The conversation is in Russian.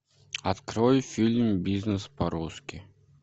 открой фильм бизнес по русски